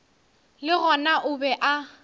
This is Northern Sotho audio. le gona o be a